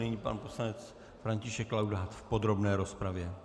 Nyní pan poslanec František Laudát v podrobné rozpravě.